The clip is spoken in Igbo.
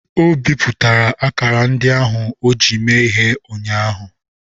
O bipụtara akara ndị ahụ o ji mee ihe ụnyaahụ.